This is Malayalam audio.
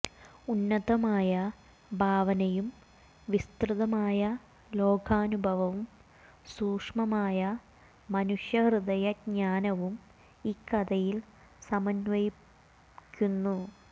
ഉന്നതമായ ഭാവനയും വിസ്തൃതമായ ലോകാനുഭവവും സൂക്ഷ്മമായ മനുഷ്യ ഹൃദയ ജ്ഞാനവും ഇക്കഥയിൽ സമന്വയിക്കുന്നു